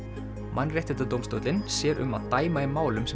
Mannréttindadómstóllinn sér um að dæma í málum sem